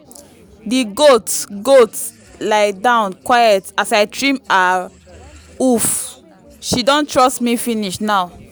the goat goat lie down quiet as i trim her hoof—she don trust me finish now.